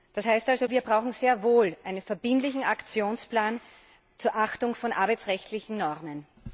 Das heißt also Wir brauchen sehr wohl einen verbindlichen Aktionsplan zur Achtung von arbeitsrechtlichen Normen.